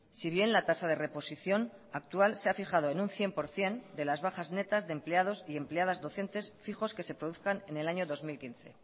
si bien la tasa de reposición actual se ha fijado en un cien por ciento de las bajas netas de empleados y empleadas docentes fijos que se produzcan en el año dos mil quince